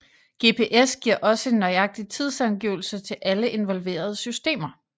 GPS giver også en nøjagtig tidsangivelse til alle involverede systemer